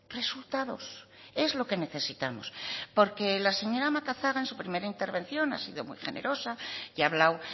resultados es lo que necesitamos porque la señora macazaga en su primera intervención ha sido muy generosa y ha hablado